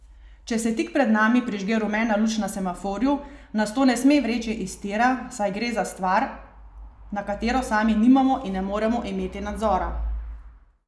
Če se tik pred nami prižge rumena luč na semaforju, nas to ne sme vreči iz tira, saj gre za stvar, na katero sami nimamo in ne moremo imeti nadzora.